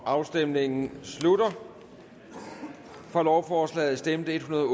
afstemningen slutter for lovforslaget stemte en hundrede og